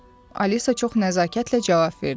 Alisa çox nəzakətlə cavab verdi.